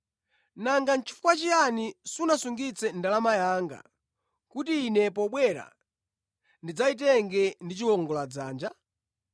Nanga nʼchifukwa chiyani sunasungitse ndalama yanga, kuti ine pobwera, ndidzayitenge ndi chiwongoladzanja?’